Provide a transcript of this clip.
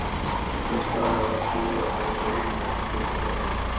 Sums staðar var búið að ryðja, sums staðar ekki.